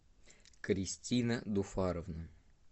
кристина дуфаровна